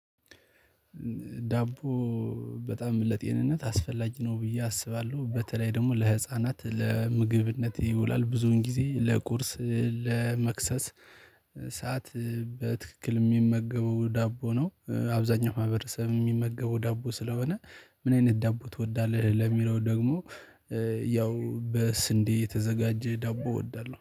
ዳቦ በጣም ለጤንነት አስፈላጊ ነው ብዬ አስባለሁ በተለይ ደግሞ ለህፃናት ለምግብነት ይውላል ብዙን ጊዜ ለቁርስ ለመክሰስ ሰዓት በትክክል የሚመገበው ዳቦ ነው። አብዛኛው ማህበረሰብ የሚመገበው ዳቦ ስለሆነ ምን አይነት ዳቦ ትወዳለህ? ለሚለው ደግሞ ያው በስንዴ የተዘጋጀ ዳቦ እወዳለሁ